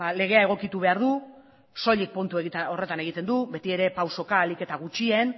legea egokitu behar du soilik puntu horretan egiten du beti ere pausoka ahalik eta gutxien